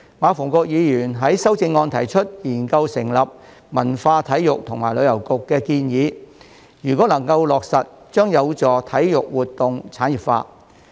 馬逢國議員於修正案中建議研究成立"文化、體育及旅遊局"，如果能夠落實，將有助體育活動產業化。